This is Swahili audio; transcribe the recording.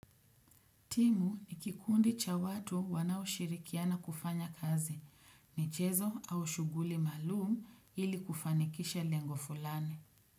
Timu ni kikundi cha watu wanao shirikiana kufanya kazi michezo au shuguli malumu ili kufanikisha lengo fulani.